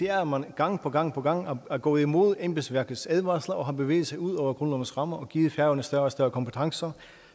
er at man gang på gang på gang er gået imod embedsværkets advarsler og har bevæget sig ud over grundlovens rammer og har givet færøerne større og større kompetencer